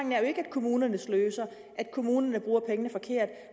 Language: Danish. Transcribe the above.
kommunerne sløser at kommunerne bruger pengene forkert